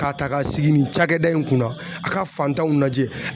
K'a ta ka sigi nin cakɛda in kunna a ka fantanw lajɛ